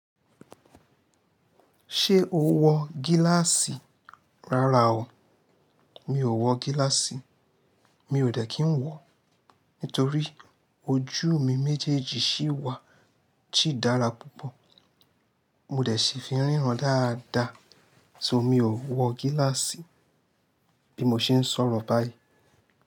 Ṣé o wọ gíláàsì? Rárá o, mi ò wọ gíláàsì. Mi ò dẹ́ kí n wọ, nítorí ojú mi méjèèjì ṣíwà, sì dára púpọ̀. Mo dẹ̀ ṣì fi n ríran dáadáa, so mi ò wọ gíláàsì bí mo ṣe ń sọ̀rọ̀ báyìí.